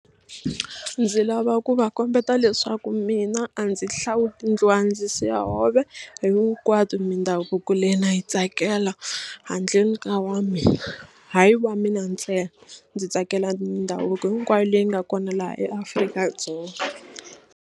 Ndzi lava ku va kombeta leswaku mina a ndzi hlawuli ndluwa ndzi siya hove hinkwato mindhavuko leyi na yi tsakela handleni ka wa mina hayi wa mina ntsena ndzi tsakela mindhavuko hinkwayo leyi nga kona laha eAfrika-Dzonga.